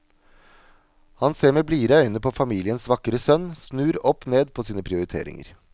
Han ser med blidere øyne på familiens vakre sønn, snur oppned på sine prioriteringer.